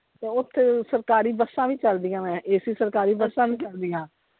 ਤੇ ਓਥੇ ਸਰਕਾਰੀ ਬੱਸਾਂ ਵੀ ਚਲਦੀਆਂ ਵਾ AC ਸਰਕਾਰੀ ਬੱਸਾਂ ਵੀ ਚਲਦੀਆਂ।